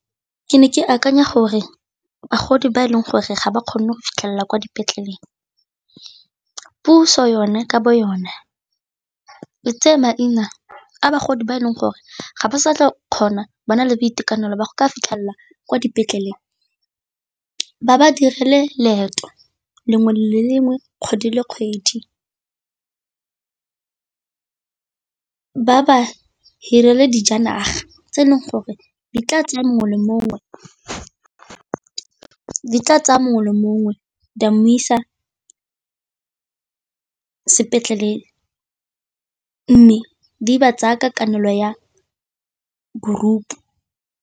Ke ne ke akanya gore bagodi ba e leng gore ga ba kgone go fitlhelela kwa dipetleleng puso yone ka bo yone e tse maina a bagodi ba e leng gore ga ba sa tle kgona ba na le boitekanelo ba go ka fitlhelela kwa dipetleleng, ba ba direle leeto lengwe le lengwe kgwedi le kgwedi, ba ba hirele dijanaga tse e leng gore di tla tsaya mongwe le mongwe di mo isa sepetleleng, mme di ba tsaya ka kanelo ya group.